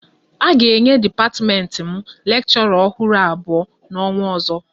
A ga-enye dipatiment m lekshora ọhụrụ abụọ n'ọnwa ozo